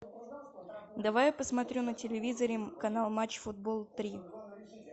давай я посмотрю на телевизоре канал матч футбол три